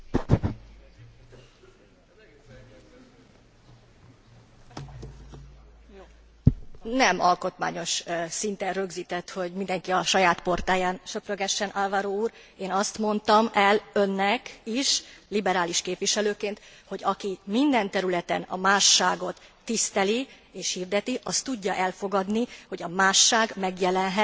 Nem alkotmányos szinten rögzített, hogy mindenki a saját portáján söprögessen, Alvaro úr, én azt mondtam el Önnek is, liberális képviselőként, hogy aki minden területen a másságot tiszteli és hirdeti, az tudja elfogadni, hogy a másság megjelenhet az alkotmányok szellemében, értékválasztásában és szerkezeti felépítésében is.